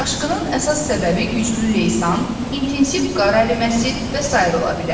Daşqının əsas səbəbi güclü leysan, intensiv qar əriməsi və sair ola bilər.